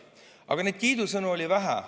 Aga kiidusõnu oli vähe.